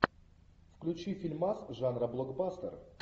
включи фильмас жанра блокбастер